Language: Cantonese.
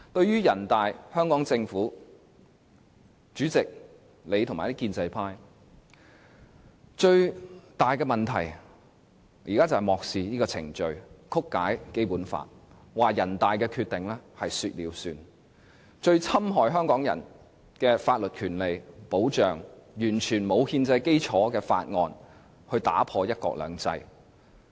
人大、香港政府、主席和建制派議員最大的問題，是在漠視程序、曲解《基本法》，把人大《決定》當成說了算，這是最侵害香港的法律權利和保障的做法，用完全沒有憲制基礎的法案，打破"一國兩制"。